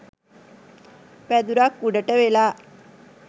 පැදුරක් උඩට වෙලා